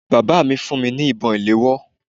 Bàbá mi fún mi ní ìbọn ìléwọ́